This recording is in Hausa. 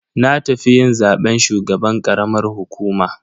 Na tafi yin zaben shugaban karamar hukuma.